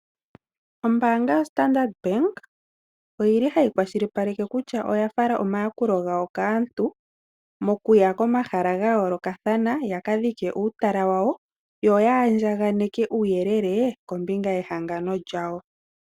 Ombaanga ya Standard oyili hayi kwashilipaleke kutya oyafala omayakulo gayo Kaantu mokuya komahala ga yoolokathana ya kadhike uutala wawo yo andjaganeke uuyelele kombinga ye hangano lyawo.